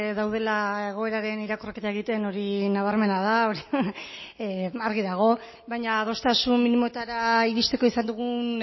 daudela egoeraren irakurketa egiten hori nabarmena da hori argi dago baina adostasun minimoetara iristeko izan dugun